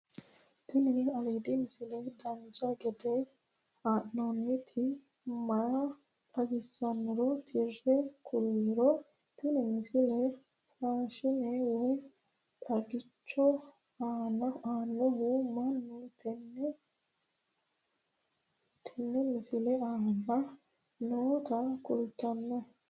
tini aliidi misile dancha gede haa'nooniti maa xawissannoro tire kulliro tini misile fashshine woy xaagicho aannohu mannu tenne misile aana noota kultanno